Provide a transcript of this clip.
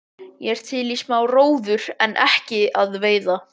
Ég er til í smá róður en ekki að veiða.